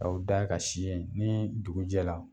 K'aw da ka si yen ni dugujɛla